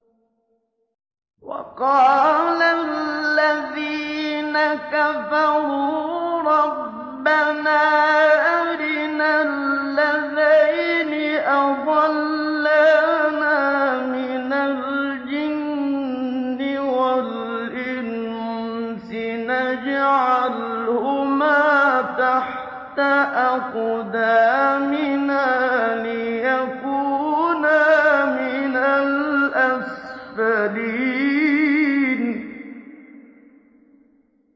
وَقَالَ الَّذِينَ كَفَرُوا رَبَّنَا أَرِنَا اللَّذَيْنِ أَضَلَّانَا مِنَ الْجِنِّ وَالْإِنسِ نَجْعَلْهُمَا تَحْتَ أَقْدَامِنَا لِيَكُونَا مِنَ الْأَسْفَلِينَ